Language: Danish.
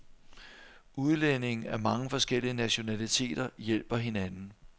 Udlændinge af mange forskellige nationaliteter hjælper hinanden.